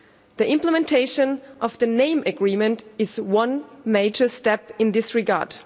The implementation of the name agreement is one major step in this regard.